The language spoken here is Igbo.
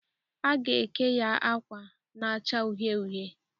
Aga eke ya akwa na-acha uhie uhie.